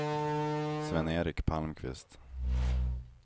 Sven-Erik Palmqvist